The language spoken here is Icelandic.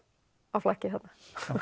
á flakki þarna